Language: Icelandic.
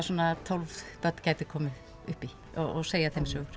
svona tólf börn gætu komið upp í og segja þeim sögur